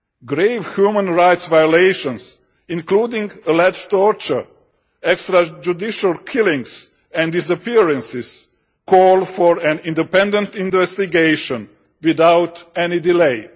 Grave human rights violations, including alleged torture, extra-judicial killings and disappearances, call for an independent investigation without any delay.